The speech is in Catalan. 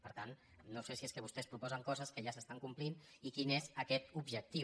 per tant no sé si és que vostès proposen coses que ja s’estan complint i quin és aquest objectiu